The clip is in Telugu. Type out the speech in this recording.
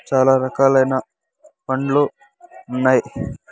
చాలా రకాలైన పండ్లు ఉన్నాయి.